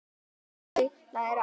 Þau læra aga.